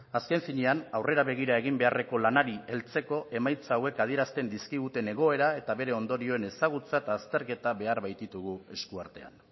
azken finean aurrera begira egin beharreko lanari heltzeko emaitza hauek adierazten dizkiguten egoera eta bere ondorioen ezagutza eta azterketa behar baititugu esku artean